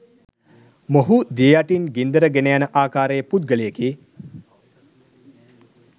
මොහු දිය යටින් ගින්දර ගෙනයන ආකාරයේ පුද්ගලයෙකි.